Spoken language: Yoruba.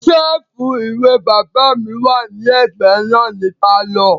Sẹ́ẹ̀fù ìwé bàbá mi wà ní ẹ̀gbẹ́ náà ní pálọ̀